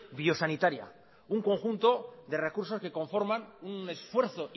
biosanitaria un conjunto de recursos que conforman un esfuerzo